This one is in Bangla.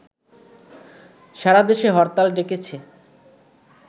সারাদেশে হরতাল ডেকেছে